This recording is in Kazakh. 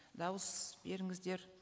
дауыс беріңіздер